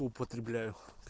употребляю